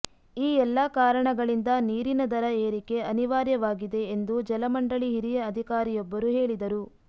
ಈ ಎಲ್ಲ ಕಾರಣಗಳಿಂದ ನೀರಿನ ದರ ಏರಿಕೆ ಅನಿವಾರ್ಯವಾಗಿದೆ ಎಂದು ಜಲಮಂಡಳಿ ಹಿರಿಯ ಅಧಿಕಾರಿಯೊಬ್ಬರು ಹೇಳಿದರು